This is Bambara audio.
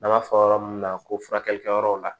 N'an b'a fɔ yɔrɔ min na ko furakɛlikɛ yɔrɔ la